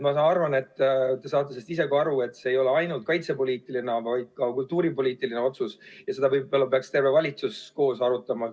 Ma arvan, et te saate sellest isegi aru, et see ei ole ainult kaitsepoliitiline, vaid ka kultuuripoliitiline otsus ja seda võib-olla peaks terve valitsus koos arutama.